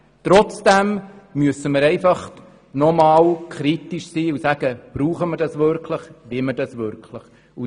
Trotzdem müssen wir nochmals kritisch sein und uns überlegen, was wir wirklich brauchen und wollen.